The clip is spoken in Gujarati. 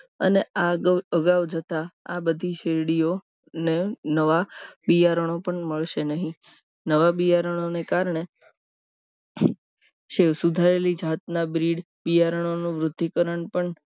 અને આગળ અગાઉ જતા આ બધી શેરડીઓ ને નવા બિયારણો પણ મળશે નહીં નવા બિયારણોને કારણે શિવ સુધારેલી જાતના બ્રીડ બિયારણોનું વૃદ્ધિકરણ પણ